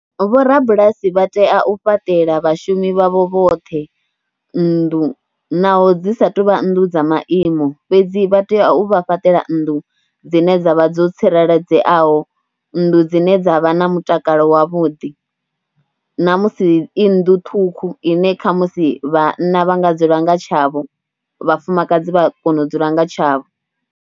Vhorabulasi vha tea u fhaṱela vhashumi vhavho vhoṱhe nnḓu naho dzi sa tou vha nnḓu dza maimo fhedzi vha tea u vha fhaṱela nnḓu dzine dza vha dzo tsireledzeaho, nnḓu dzine dza vha na mutakalo wavhuḓi namusi i nnḓu ṱhukhu ine kha musi vhanna vha nga dzula nga tshavho, vhafumakadzi vha kona u dzula nga tshavho.